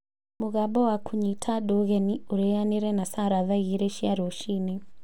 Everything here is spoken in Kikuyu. Mũgambo wa kũnyita andũ ũgeni ũrĩanĩre na Sarah thaa igĩrĩ cia rũcinĩ